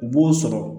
U b'o sɔrɔ